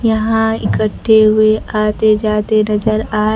यहां इकट्ठे हुए आते जाते नजर आ--